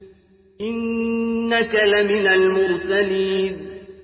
إِنَّكَ لَمِنَ الْمُرْسَلِينَ